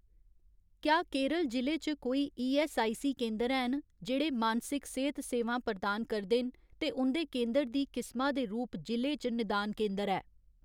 क्या केरल जि'ले च कोई ईऐस्सआईसी केंदर हैन जेह्ड़े मानसिक सेह्त सेवां प्रदान करदे न ते उं'दे केंदर दी किसमा दे रूप जि'ले च निदान केंदर है ?